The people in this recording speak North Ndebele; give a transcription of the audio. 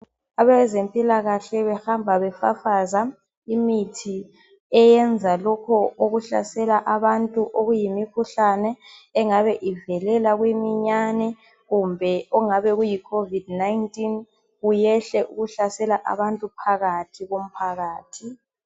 Abezempilakahle behamba befafaza imithi eyenza lokho okuhlasela abantu okuyimikhuhlane engabe ivelela kuyiminyane, kumbe okungabe kuyiCOVID 19 kuyekele ukuhlasela abantu phakathi komphakathi.